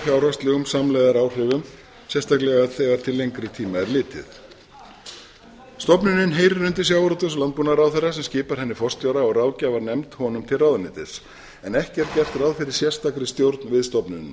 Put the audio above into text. fjárhagslegum samlegðaráhrifum sérstaklega þegar til lengri tíma er litið stofnunin heyrir undir sjávarútvegs og landbúnaðarráðherra sem skipar henni forstjóra og ráðgjafarnefnd honum til ráðuneytis en ekki er gert ráð fyrir sérstakri stjórn við